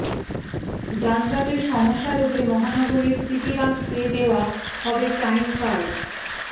যানজটের সমস্যা রোধে মহানগরীর সিটি বাসকে দেওয়া হবে টাইম কার্ড